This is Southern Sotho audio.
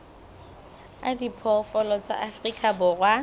a diphoofolo tsa afrika borwa